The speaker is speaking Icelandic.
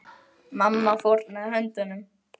Mamma fórnaði höndum.